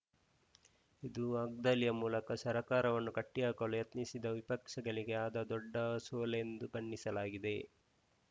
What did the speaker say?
ಇದು ವಾಗ್ದಾಳಿಯ ಮೂಲಕ ಸರ್ಕಾರವನ್ನು ಕಟ್ಟಿಹಾಕಲು ಯತ್ನಿಸಿದ್ದ ವಿಪಕ್ಷಗಳಿಗೆ ಆದ ದೊಡ್ಡ ಸೋಲೆಂದು ಬಣ್ಣಿಸಲಾಗಿದೆ